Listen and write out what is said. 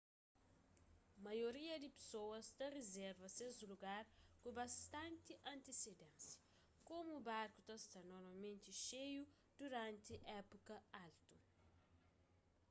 maioria di pesoas ta rizerva ses lugar ku bastanti antisidénsia komu barku ta sta normalmenti xeiu duranti épuka altu